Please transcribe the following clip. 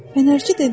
Fənərçi dedi: